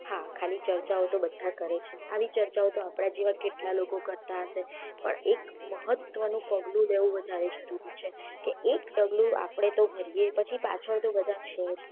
હા ખાલી ચર્ચાઓ તો બધા કરે છે અને આવી ચર્ચાઓ તો આપડા જેવા કેટલા કરતા હશે એક મહત્વ નું પગલું લેવું વધારે જરૂરી છે કે એક ડગલું આપડે તો ભરીયે પછી પાચળ તો બધા છે જ